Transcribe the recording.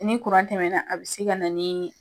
Ni tɛmɛna, a be se ka na ni